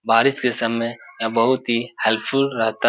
बारिश के समय यह बहुत ही हेल्पफुल रहता --